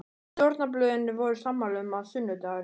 Stjórnarblöðin voru sammála um, að sunnudagurinn